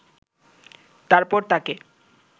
তারপর তাকে